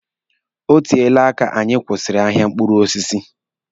O teele aka anyi kwụsịrị ahịa mkpụrụ osisi.